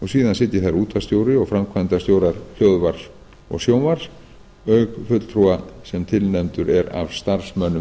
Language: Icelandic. síðan sitja þar útvarpsstjóri og framkvæmdastjórar hljóðvarps og sjónvarps auk fulltrúa sem tilnefndur er af starfsmönnum